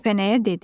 Kəpənəyə dedi: